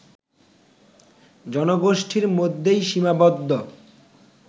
জনগোষ্ঠির মধ্যেই সীমাবদ্ধ